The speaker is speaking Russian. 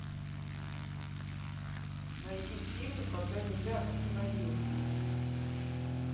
найди фильм когда земля остановилась